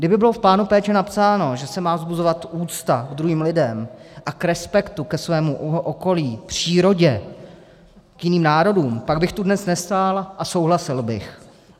Kdyby bylo v plánu péče napsáno, že se má vzbuzovat úcta k druhým lidem a k respektu ke svému okolí, přírodě, k jiným národům, pak bych tu dnes nestál a souhlasil bych.